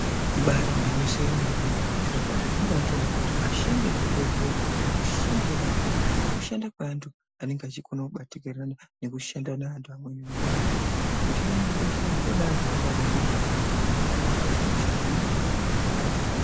Ibaari gwinyiso remene zvirokwazvo zvinobaatondipa kuti vanoshanda muzvibhedhlera, kamushandirwe kavanoita kushanda kwevanhu vanokone kubatikira nekushanda nevanhu vamweni ngenyaya yekuti kushande muzvibhedhlera kunoda vanhu vanenge vane moyo wakanaka ngenyaya yekuti pamweni hosha dzacho dzinenge dzakaoma.